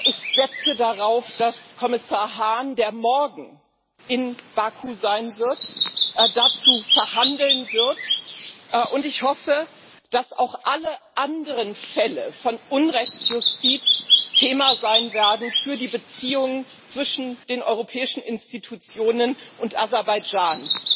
Ich setze darauf, dass Kommissar Hahn, der morgen in Baku sein wird, dazu verhandeln wird. Und ich hoffe, dass auch alle anderen Fälle von Unrechtsjustiz Thema sein werden für die Beziehungen zwischen den europäischen Institutionen und Aserbaidschan.